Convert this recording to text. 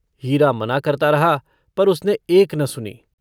हीरा मना करता रहा पर उसने एक न सुनी।